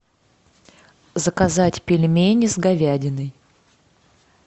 заказать пельмени с говядиной